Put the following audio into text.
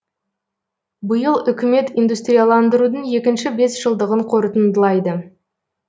биыл үкімет индустрияландырудың екінші бесжылдығын қорытындылайды